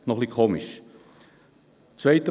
Das sähe schon ein bisschen komisch aus.